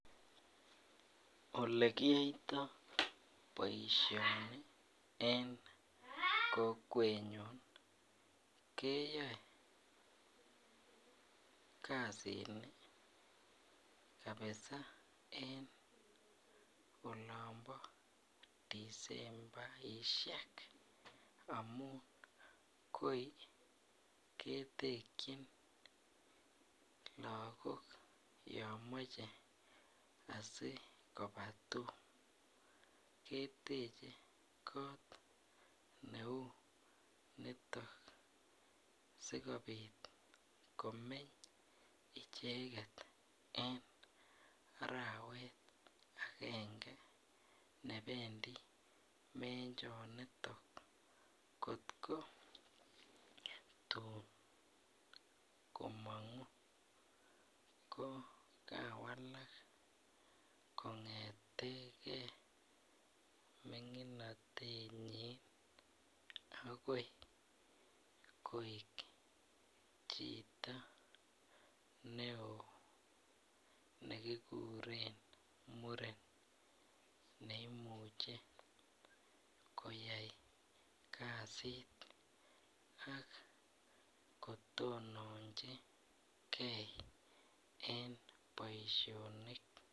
Olekiyoito boisioni en kokwenyon keyoe kasin kabisa olombo disembaisiek amun koi ketekchin lagok yon moche asikobaa tum ketekyin kot neu nitok sikobit komeny icheket en arawet agenge nebendi menjonitok kot ko tun komong'u ko kawalak kong'eteke ming'inotenyin akoi koik chito ne oo nekikuren muren neimuche koyai kasit akotononjingee en boisionik.